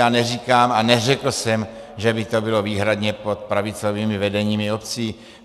Já neříkám a neřekl jsem, že by to bylo výhradně pod pravicovými vedeními obcí.